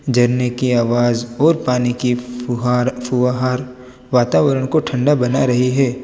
झरने की आवाज और पानी की फुहार फुहार वातावरण को ठंडा बना रही है।